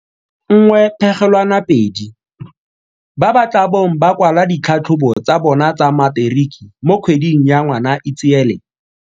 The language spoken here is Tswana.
1.2 ba ba tla bong ba kwala ditlhatlhobo tsa bona tsa Materiki mo kgweding ya Ngwanaitseele.